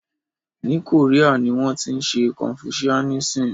Ní Korea ni wọ́n tí ń ṣe confuianism.